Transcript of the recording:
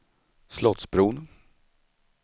Slottsbron